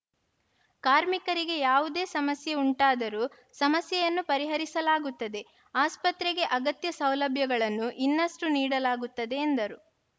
ಕಾರ್ಮಿಕರಿಗೆ ಯಾವುದೇ ಸಮಸ್ಯೆ ಉಂಟಾದರೂ ಸಮಸ್ಯೆಯನ್ನು ಪರಿಹರಿಸಲಾಗುತ್ತದೆ ಆಸ್ಪತ್ರೆಗೆ ಅಗತ್ಯ ಸೌಲಭ್ಯಗಳನ್ನು ಇನ್ನಷ್ಟುನೀಡಲಾಗುತ್ತದೆ ಎಂದರು